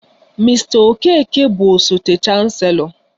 Mr okeke bụ osote chancelọ